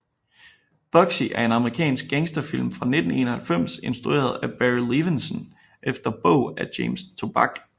Bugsy er en amerikansk gangsterfilm fra 1991 instrueret af Barry Levinson efter bog af James Toback